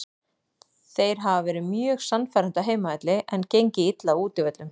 Þeir hafa verið mjög sannfærandi á heimavelli en gengið illa á útivöllum.